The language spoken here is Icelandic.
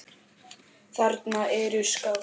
Þarna eru skáld.